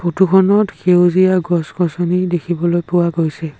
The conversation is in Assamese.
ফটো খনত সেউজীয়া গছ গছনি দেখিবলৈ পোৱা গৈছে।